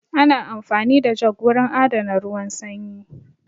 Ana amfani da jug wurin adana ruwan sanyi